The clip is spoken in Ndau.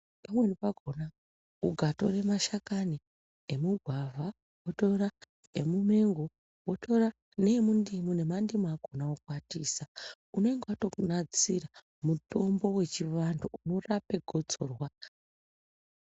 Pamweni pakona ukatore mashakani emugwavha, wotora emumengo, wotora neemundimu nemandimu akona wokwatisa, unenge watonasira mutombo wechivantu unorape gotsorwa.